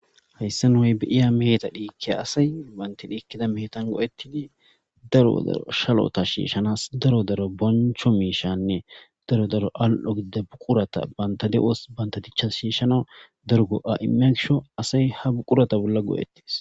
hayssa n hoy biiya meeta dhiikke asay banti dhiikkida meetan go7ettidi daro daro shalota shiishanas daro daro boncho miishanne daro daro al7o gidida buqurata banta de7os banta dichcha shiishana dargo7a7imegsho asay ha buqurata bolla go7ettis